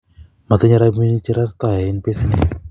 matinyei robinik chewrktoen besendi